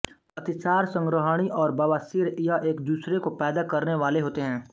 अतिसार संग्रहणी और बवासीर यह एक दूसरे को पैदा करने वाले होते है